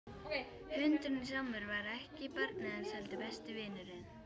Hundurinn Sámur var ekki barnið hans heldur besti vinurinn.